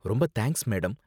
ரொம்ப thanks, madam.